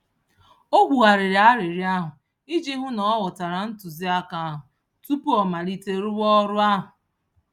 Ọ kwugharịrị arịrịọ ahụ iji hụ na ọ ghọtara ntụziaka ahụ tupu ọ malite rụwa ọrụ ahụ.